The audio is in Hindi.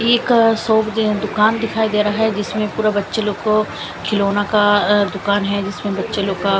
यह एक शॉप जो है दुकान दिखाई दे रहा है जिसमें पूरा बच्चे लोग को खिलौना का अह दुकान है जिसमें बच्चे लोग का--